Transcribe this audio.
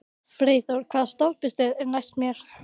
Freyþór, hvaða stoppistöð er næst mér?